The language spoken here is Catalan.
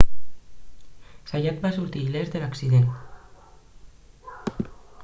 zayat va sortir il·lès d'l'accident